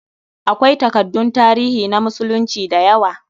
Akwai takaddun tarihi na musulunci da yawa.